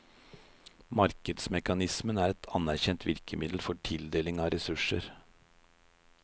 Markedsmekanismen er et anerkjent virkemiddel for tildeling av ressurser.